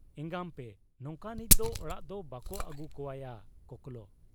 ᱮᱸᱜᱟᱢᱯᱮ ᱱᱚᱝᱠᱟᱱᱤᱡ ᱫᱚ ᱚᱲᱟᱜ ᱫᱚ ᱵᱟᱠᱚ ᱟᱹᱜᱩ ᱠᱚᱣᱟᱭᱟ ᱠᱚᱠᱞᱚ ᱾